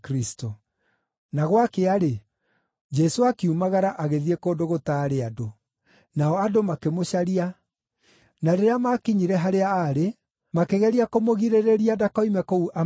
Na gwakĩa-rĩ, Jesũ akiumagara agĩthiĩ kũndũ gũtaarĩ andũ. Nao andũ makĩmũcaria, na rĩrĩa maakinyire harĩa aarĩ, makĩgeria kũmũgirĩrĩria ndakoime kũu amatige.